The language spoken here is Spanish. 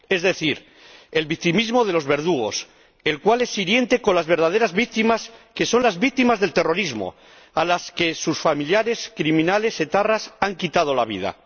Es decir, el victimismo de los verdugos, el cual es hiriente con las verdaderas víctimas, que son las víctimas del terrorismo, a las que sus familiares, criminales etarras, han quitado la vida.